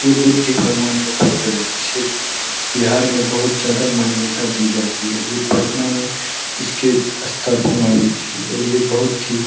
ये बुद्ध भगवान का फोटो है इसे बिहार में बहुत ज्यादा मान्यता दी जाती है ये पटना में इसकी स्थापना हुई थी और ये बहुत ही --